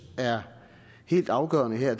er helt afgørende her